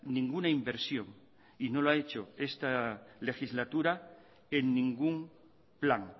ninguna inversión y no lo ha hecho esta legislatura en ningún plan